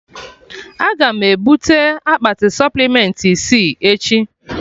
Aga m ebute akpati supplementị isi echi